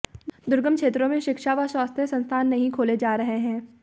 दुर्गम क्षेत्रों में शिक्षा व स्वास्थ्य संस्थान नहीं खोले जा रहे हैं